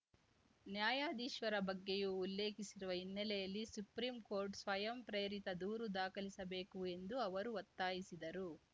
ನ್ಯಾಯಾಧೀಶರ ಬಗ್ಗೆಯೂ ಉಲ್ಲೇಖಿಸಿರುವ ಹಿನ್ನೆಲೆಯಲ್ಲಿ ಸುಪ್ರೀಂ ಕೋರ್ಟ್ ಸ್ವಯಂ ಪ್ರೇರಿತ ದೂರು ದಾಖಲಿಸಬೇಕು ಎಂದು ಅವರು ಒತ್ತಾಯಿಸಿದರು